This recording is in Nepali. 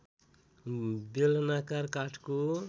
बेलनाकार काठको